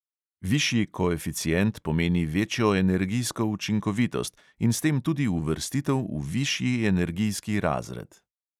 Višji koeficient pomeni večjo energijsko učinkovitost in s tem tudi uvrstitev v višji energijski razred.